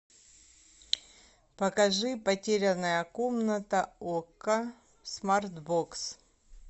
покажи потерянная комната окко смарт бокс